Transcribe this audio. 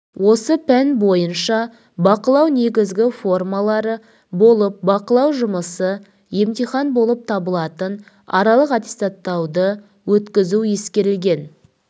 осы пән бойынша бақылау негізгі формалары болып бақылау жұмысы емтихан болып табылатын аралық аттестаттауды өткізу ескерілген